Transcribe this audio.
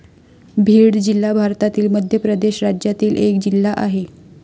भीड जिल्हा भारतातील मध्य प्रदेश राज्यातील एक जिल्हा आहे.